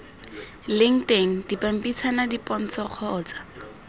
leng teng dipampitshana dipontsho kgotsa